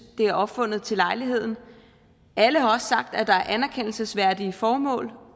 det er opfundet til lejligheden alle har også sagt at der er anerkendelsesværdige formål